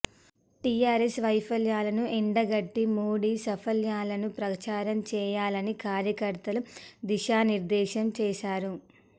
TRS వైఫల్యాలను ఎండగట్టి మోడీ సాఫల్యాలను ప్రచారం చేయాలని కార్యకర్తలకు దిశానిర్దేశం చేశారు